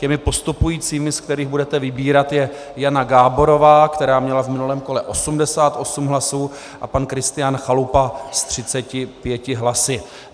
Těmi postupujícími, z kterých budete vybírat, je Jana Gáborová, která měla v minulém kole 88 hlasů, a pan Kristián Chalupa s 35 hlasy.